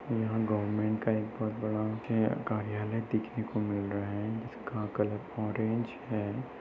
यहाँ गवर्मेंट का एक बहुत बड़ा कार्यालय दिखने को मिल रहा है जिसका कलर ओरेंज है।